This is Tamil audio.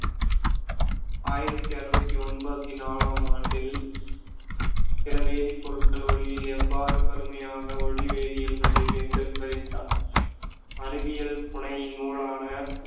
ஆயிரத்தி அறுவத்தி ஒன்பத்தி நாலாம் ஆண்டில் சில வேதிப் பொருட்கள் ஒளியில் எவ்வாறு கருமையாக ஒளி வேதியல் விளைவு என்று விவரித்தார்.